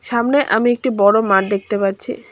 সামনে আমি একটি বড় মাঠ দেখতে পাচ্ছি।